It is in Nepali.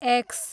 एक्स